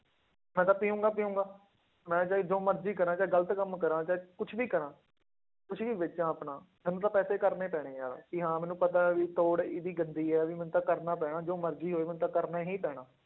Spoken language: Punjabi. ਮੈਂ ਤਾਂ ਪੀਊਂਗਾ ਪੀਊਂਗਾ, ਮੈਂ ਚਾਹੇ ਜੋ ਮਰਜ਼ੀ ਕਰਾਂ ਚਾਹੇ ਗ਼ਲਤ ਕੰਮ ਕਰਾਂ ਚਾਹੇ ਕੁਛ ਵੀ ਕਰਾਂ ਕੁਛ ਵੀ ਵੇਚਾਂ ਆਪਣਾ, ਮੈਨੂੰ ਤਾਂ ਪੈਸੇ ਕਰਨੇ ਪੈਣੇ ਆਂ ਕਿ ਹਾਂ ਮੈਨੂੰ ਪਤਾ ਹੈ ਵੀ ਤੋੜ ਇਹਦੀ ਗੰਦੀ ਹੈ ਵੀ ਮੈਨੂੰ ਤਾਂ ਕਰਨਾ ਪੈਣਾ ਜੋ ਮਰਜ਼ੀ ਹੋਏ ਮੈਨੂੰ ਤਾਂ ਕਰਨਾ ਹੀ ਪੈਣਾ।